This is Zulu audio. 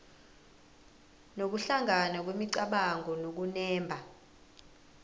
nokuhlangana kwemicabango nokunemba